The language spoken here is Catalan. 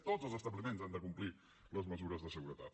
tots els establiments han de complir les mesures de seguretat